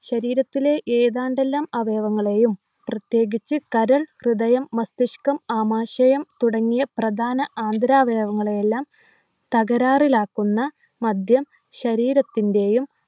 ശരീരത്തിലെ ഏതാണ്ടെല്ലാം അവയങ്ങളെയും പ്രത്യേകിച്ചു കരൾ ഹൃദയം മസ്തിഷ്‌കം ആമാശയം തുടങ്ങിയ പ്രധാന ആന്തരാവയവങ്ങളെയെല്ലാം തകരാറിലാക്കുന്ന മദ്യം ശരീരത്തിൻ്റെയും